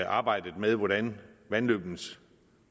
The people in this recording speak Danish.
arbejdet med hvordan vandløbenes